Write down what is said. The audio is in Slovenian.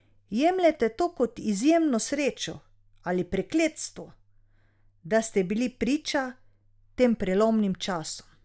Jemljete to kot izjemno srečo ali prekletstvo, da ste bili priča tem prelomnim časom?